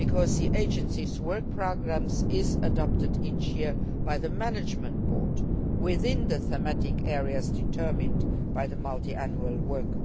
agency. The agency's work programmes are adopted each year by the management board within the thematic areas determined by the Multiannual Framework.